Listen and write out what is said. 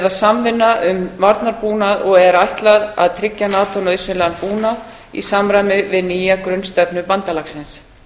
samvinna um varnarbúnað og er ætlað að tryggja nato nauðsynlegan búnað í samræmi við nýja grunnstefnu bandalagsins